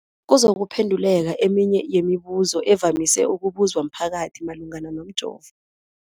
kuzokuphe nduleka eminye yemibu zo evamise ukubuzwa mphakathi malungana nomjovo.